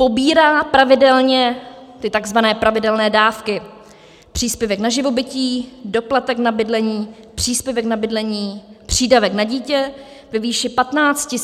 Pobírá pravidelně ty tzv. pravidelné dávky - příspěvek na živobytí, doplatek na bydlení, příspěvek na bydlení, přídavek na dítě ve výši 15